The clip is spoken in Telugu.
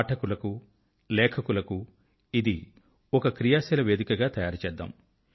పాఠకుల కు లేఖకుల కు ఇది ఒక క్రియాశీల వేదిక గా తయారు చేద్దాం